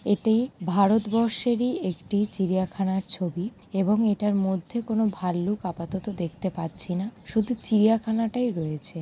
এটি ভারতবর্ষেরই একটি চিড়িয়াখানার ছবি এবং এটার মধ্যে কোন ভাল্লুক আপাতত দেখতে পাচ্ছি। না শুধু চিড়িয়াখানা টাই রয়েছে।